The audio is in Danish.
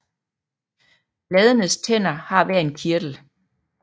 Bladenes tænder har hver en kirtel